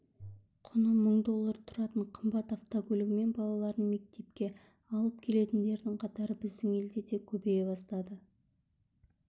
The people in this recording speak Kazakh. құны мың доллары тұратын қымбат автокөлігімен балаларын мектепке алып келетіндердің қатары біздің елде де көбейе бастады